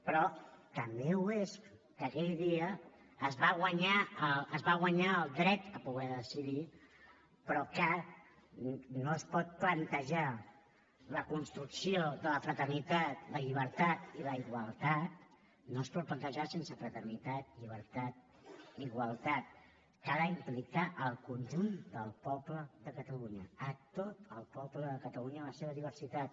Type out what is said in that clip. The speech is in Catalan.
però també ho és que aquell dia es va guanyar el dret a poder decidir però que no es pot plantejar la construcció de la fraternitat la llibertat i la igualtat no es pot plantejar sense fraternitat llibertat i igualtat que ha d’implicar el conjunt del poble de catalunya a tot el poble de catalunya en la seva diversitat